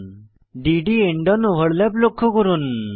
d D end on overlap লক্ষ্য করুন